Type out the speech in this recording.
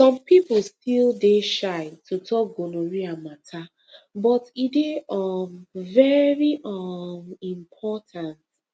some people still dey shy to talk gonorrhea matter but e dey um very um important